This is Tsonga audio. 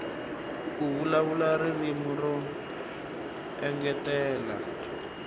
ku vulavula ririmi ro engetela